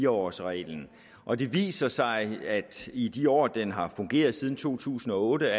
årsreglen og det viser sig at i de år den har fungeret siden to tusind og otte